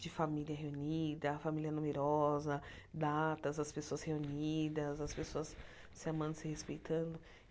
De família reunida, família numerosa, datas, as pessoas reunidas, as pessoas se amando, se respeitando.